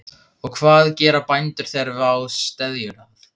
Og hvað gera bændur þegar vá steðjar að?